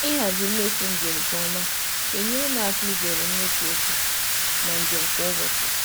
Ịhazi mmefu njem nke ọma na-enyere m aka izere imefu oke na njem kwa ụbọchị.